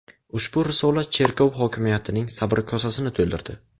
Ushbu risola cherkov hokimiyatining sabr kosasini to‘ldirdi.